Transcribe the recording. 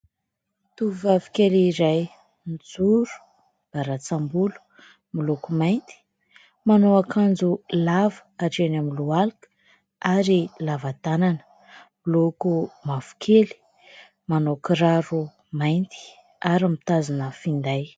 Tovovavy kely iray : mijoro, miarantsam-bolo miloko mainty, manao akanjo lava hatreny amin'ny lohalika ary lava tanana miloko mavokely, manao kiraro mainty ary mitazona finday.